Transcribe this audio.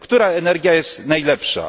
Która energia jest najlepsza?